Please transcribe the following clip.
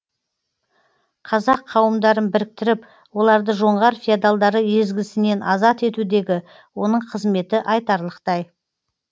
қазақ қауымдарын біріктіріп оларды жоңғар феодалдары езгісінен азат етудегі оның қызметі айтарлықтай